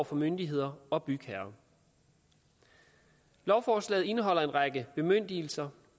for myndigheder og bygherrer lovforslaget indeholder en række bemyndigelser